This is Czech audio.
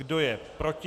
Kdo je proti?